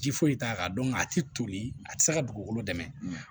Ji foyi t'a kan a ti toli a ti se ka dugukolo dɛmɛ